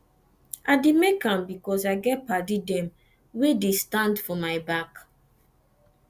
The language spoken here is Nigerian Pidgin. i dey make am because i get paddy dem wey dey stand for my back